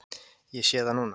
Ég sé það núna.